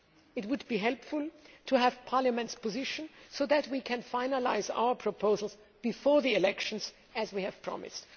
It would be helpful to have Parliament's position so that we can finalise our proposals before the elections, as we promised.